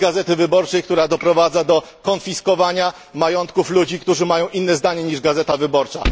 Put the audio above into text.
Tej Gazety Wyborczej, która doprowadza do konfiskowania majątków ludzi, którzy mają inne zdanie niż Gazeta Wyborcza.